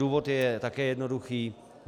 Důvod je také jednoduchý.